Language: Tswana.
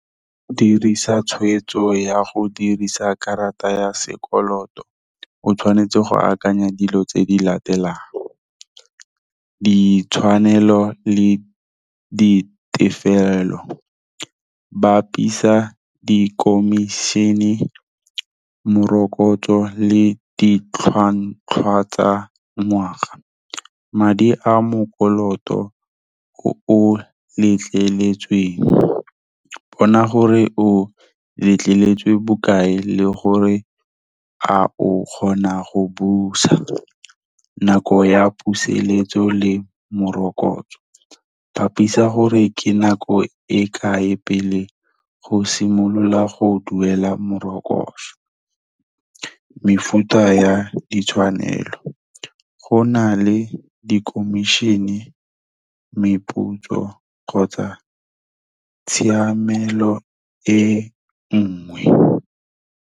Dirisa tshweetso ya go dirisa karata ya sekoloto, o tshwanetse go akanya dilo tse di latelang, ditshwanelo le ditefelelo, bapisa di komišene, morokotso le ditlhwatlhwa tsa ngwaga, madi a mokoloto o o letleletsweng, bona gore o letleletswe bokae le gore a o kgona go busa nako ya puseletso le morokotso. Bapisa gore ke nako e kae pele go simolola go duela morokotso. Mefuta ya ditshwanelo, go na le di komišene, meputso, kgotsa tshiamelo e nngwe.